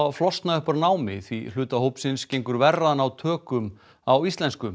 flosna upp úr námi því hluta hópsins gengur verr að ná góðum tökum á íslensku